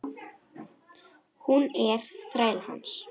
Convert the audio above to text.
Hún er þræll hans.